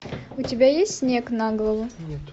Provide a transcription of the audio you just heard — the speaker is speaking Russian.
у тебя есть снег на голову